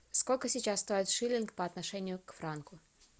сколько сейчас стоит шиллинг по отношению к франку